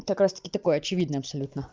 так раз-таки такое очевидно абсолютно